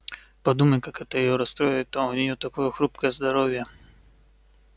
подумай как это её расстроит а у нее такое хрупкое здоровье